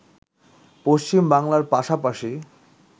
পশ্চিম বাংলার পাশাপাশি